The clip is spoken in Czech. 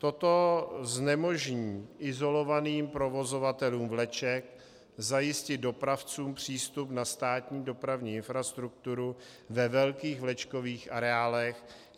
Toto znemožní izolovaným provozovatelům vleček zajistit dopravcům přístup na státní dopravní infrastrukturu ve velkých vlečkových areálech.